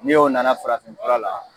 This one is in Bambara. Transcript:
Ni o na na farafin fura la